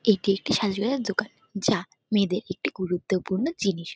এটি একটি সাজাগোজার দোকান যা মেয়েদের একটি গুরুত্বপূর্ণ জিনিস।